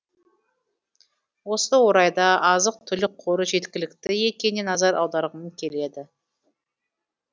осы орайда азық түлік қоры жеткілікті екеніне назар аударғым келеді